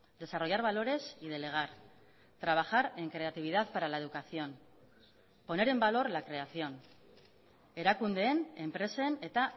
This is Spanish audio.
desarrollar valores y delegar trabajar en creatividad para la educación poner en valor la creación erakundeen enpresen eta